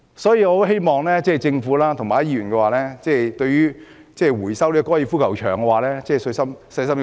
因此，我很希望政府和議員細心想清楚收回高爾夫球場土地的問題。